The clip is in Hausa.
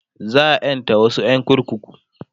za'a ƴanta wasu ƴan kurkuku